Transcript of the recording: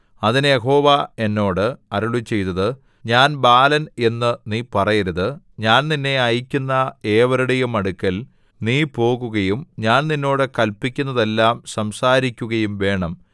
അതിന് യഹോവ എന്നോട് അരുളിച്ചെയ്തത് ഞാൻ ബാലൻ എന്നു നീ പറയരുത് ഞാൻ നിന്നെ അയയ്ക്കുന്ന ഏവരുടെയും അടുക്കൽ നീ പോകുകയും ഞാൻ നിന്നോട് കല്പിക്കുന്നതെല്ലാം സംസാരിക്കുകയും വേണം